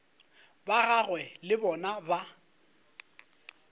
ba gagwe le bona ba